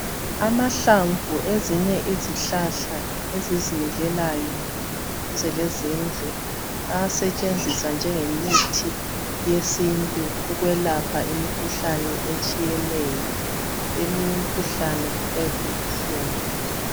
Amahlamvu ezinye izihlahla ezizimilelayo, ze lezindlu ayasetshenziswa njengemithi yesintu ukwelapha imikhuhlane etshiyeneyo. Eminy' imkhuhlane iyabibuhlungu.